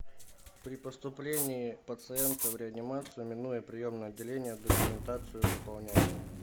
при поступлении пациента в реанимацию минуя приемное отделение документацию заполняет